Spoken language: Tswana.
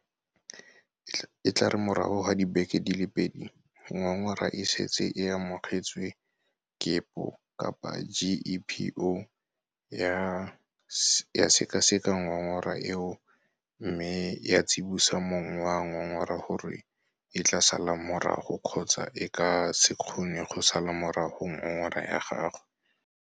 E tla re morago ga dibeke di le pedi ngongora e setse e amogetswe GEPO ya sekaseka ngongora eo mme ya tsibosa mong wa ngongora gore e tla sala morago kgotsa e ka se kgone go sala morago ngongora ya gagwe.